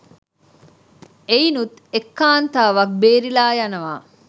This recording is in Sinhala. එයිනුත් එක් කාන්තාවක් බේරිලා යනවා